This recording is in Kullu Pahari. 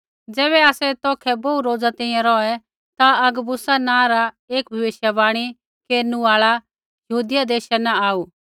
ज़ैबै आसै तौखै बोहू रोज़ा तैंईंयैं रौहै ता अगबुस नाँ रा एक भविष्यवाणी केरनु आल़ा यहूदिया देशा न आऊ